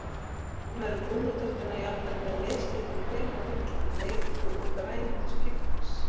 Stundum eru brúnu terturnar jafnvel með mislitu kremi á milli, bleiku og grænu til skiptis.